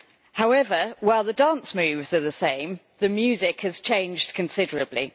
However, while the dance moves are the same, the music has changed considerably.